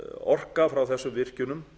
orka frá þessum virkjunum